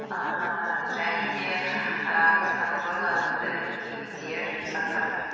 ііі және де ііі казтрансойл атты мекемеде жұмыс атқардым